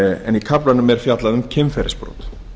en í kaflanum er fjallað um kynferðisbrot